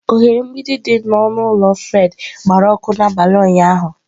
Oghere mgbidi dị n'ọnụ ụlọ Fred gbara ọkụ n'abalị ụnyahụ